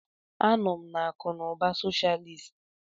Anọ m na akụ na ụba socialist.